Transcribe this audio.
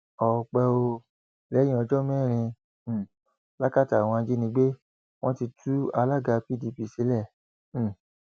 ọpẹ ò lẹyìn ọjọ mẹrin um làkàtà àwọn ajínigbé wọn ti tú alága pdp sílẹ um